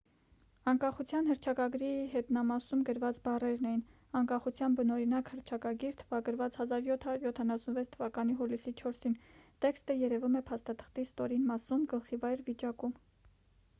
անկախության հռչակագրի հետնամասում գրված բառերն էին անկախության բնօրինակ հռչակագիր թվագրված 1776 թվականի հուլիսի 4-ին տեքստը երևում է փաստաթղթի ստորին մասում գլխիվայր վիճակում